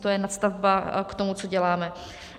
To je nadstavba k tomu, co děláme.